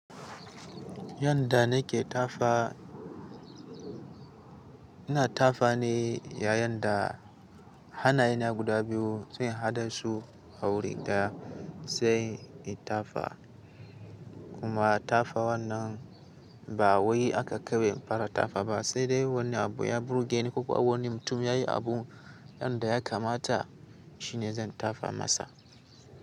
Yanda nake tafa ina tafa ne yayanda hannayena guda biyu sai in haɗa su a wuri ga sai in tafa. Kuma tafa wannan ba wai aka koya fara tafa ba, sai dai wani abu ya burgeni ko kuwa wani mutum ya yi abu yanda ya kamata shine zan tafa masa.